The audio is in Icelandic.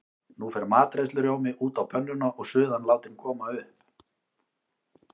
Nú fer matreiðslurjómi út á pönnuna og suðan látin koma upp.